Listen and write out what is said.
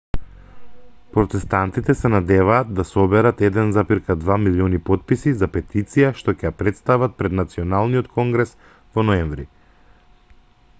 протестантите се надеваат да соберат 1,2 милиони потписи за петицијата што ќе ја претстават пред националниот конгрес во ноември